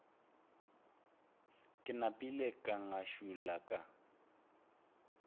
ke napile ka ngašula ka